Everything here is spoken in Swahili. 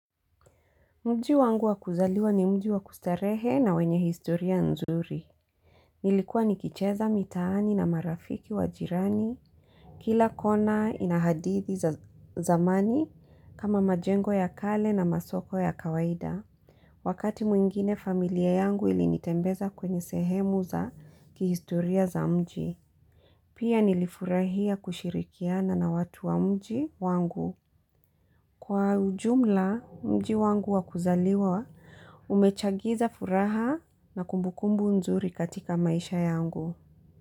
Mji wangu wa kuzaliwa ni mji wa kustarehe na wenye historia nzuri. Nilikuwa nikicheza mitaani na marafiki wa jirani. Kila kona ina hadithi za zamani kama majengo ya kale na masoko ya kawaida. Wakati mwingine familia yangu ilinitembeza kwenye sehemu za kihistoria za mji. Pia nilifurahia kushirikiana na watu wa mji wangu. Kwa ujumla mji wangu wa kuzaliwa, umechangia furaha na kumbukumbu nzuri katika maisha yangu.